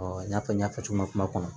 i n'a fɔ n y'a fɔ cogo min kuma kɔnɔ